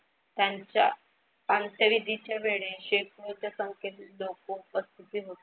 त्यांच्या अंत्यविधीच्या वेळे शेकडोच्या संख्येत लोक उपस्थित होते.